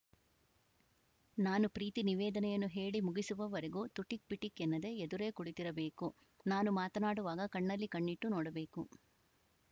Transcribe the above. ನಾನು ಪ್ರೀತಿ ನಿವೇದನೆಯನ್ನು ಹೇಳಿ ಮುಗಿಸುವವರೆಗೂ ತುಟಿಕ್‌ಪಿಟಿಕ್‌ ಎನ್ನದೆ ಎದುರೇ ಕುಳಿತಿರಬೇಕು ನಾನು ಮಾತನಾಡುವಾಗ ಕಣ್ಣಲ್ಲಿಕಣ್ಣಿಟ್ಟು ನೋಡಬೇಕು